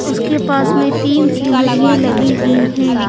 उसके पास में तीन सीनरियें लगी हुई हैं।